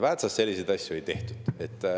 Väätsas selliseid asju ei tehtud.